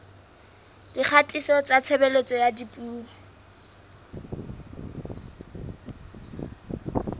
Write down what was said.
dikgatiso tsa tshebediso ya dipuo